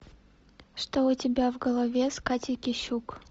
что у тебя в голове с катей кищук